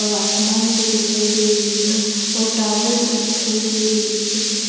और आसमान भी दिखाई दे रही है और टावर भी दिखाई दे रही है।